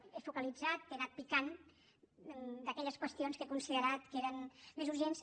jo he focalitzat he anat picant d’aquelles qüestions que he considerat més urgents